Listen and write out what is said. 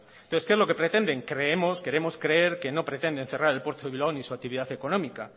entonces qué es lo que pretenden creemos queremos creer que no pretenden cerrar el puerto de bilbao ni su actividad económica